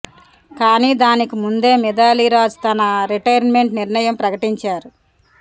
కానీ దానికి ముందే మిథాలీ రాజ్ తన రిటైర్మెంట్ నిర్ణయం ప్రకటించారు